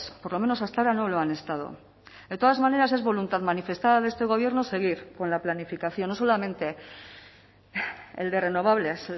por lo menos hasta ahora no lo han estado de todas maneras es voluntad manifestada de este gobierno seguir con la planificación no solamente el de renovables